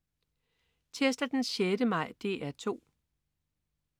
Tirsdag den 6. maj - DR 2: